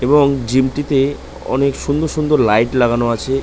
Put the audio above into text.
এবং জিম -টিতে অনেক সুন্দর সুন্দর লাইট লাগানো আছে।